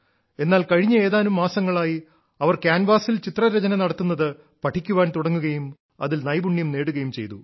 എന്നാൽ കഴിഞ്ഞ ഏതാനും മാസങ്ങളായി അവർ കാൻവാസിൽ ചിത്രരചന നടത്തുന്നത് പഠിക്കാൻ തുടങ്ങുകയും അതിൽ നൈപുണ്യം നേടുകയും ചെയ്തു